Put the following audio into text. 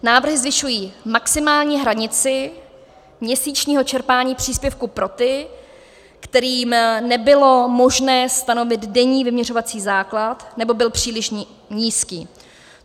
Návrhy zvyšují maximální hranici měsíčního čerpání příspěvku pro ty, kterým nebylo možné stanovit denní vyměřovací základ, nebo byl příliš nízký.